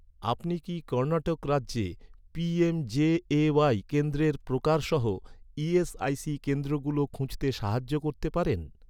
আপনি কি, কর্ণাটক রাজ্যে পি.এম.জে.এ.ওয়াই কেন্দ্রের প্রকার সহ, ই.এস.আই.সি কেন্দ্রগুলো খুঁজতে সাহায্য করতে পারেন?